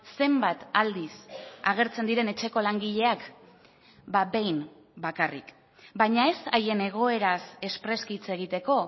zenbat aldiz agertzen diren etxeko langileak behin bakarrik baina ez haien egoeraz espreski hitz egiteko